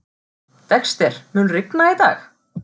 Dexter, mun rigna í dag?